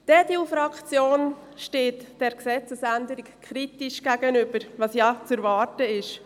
Die EDU-Faktion steht dieser Gesetzesänderung kritisch gegenüber, was ja zu erwarten war.